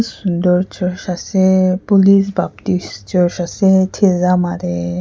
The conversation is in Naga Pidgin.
sundur church ase police baptist church ase thizama te.